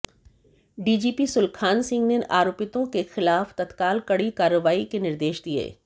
DGP Sulkhan Singh ने आरोपितों के खिलाफ तत्काल कड़ी कार्रवाई के निर्देश दिए